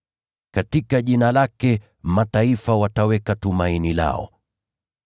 Katika Jina lake mataifa wataweka tumaini lao.”